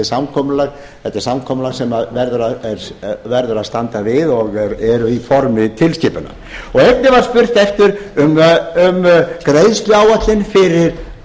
samkomulag þetta er samkomulag sem verður að standa við og er í formi tilskipunar einnig var spurt um greiðsluáætlun fyrir